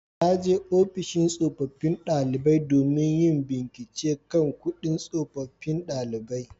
Na je ofishin tsofaffin daliban domin yin bincike kan kudin tsofaffin daliban